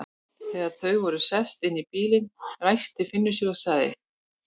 Þegar þau voru sest inn í bílinn, ræskti Finnur sig og sagði